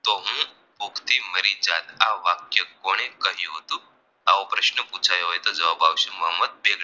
તો હુ કોક દી મરી જાત આ વાક્ય કોને કહ્યું હતું આવો પ્રશ્ન પૂછાયો હોય તો જવાબ આવશે મોહમદ બેગ